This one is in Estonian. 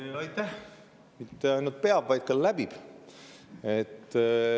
Mitte ainult ei pea, vaid ka läbib.